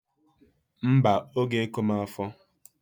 Mbaǃ Ọ g'eko m afọ.